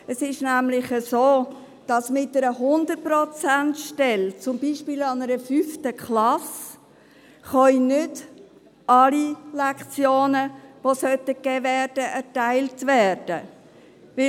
Es ist nämlich so, dass mit einer 100-Prozent-Stelle, zum Beispiel an einer 5. Klasse, nicht alle Lektionen, die gegeben werden sollten, erteilt werden können.